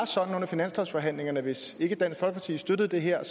sådan at hvis ikke dansk folkeparti støttede det her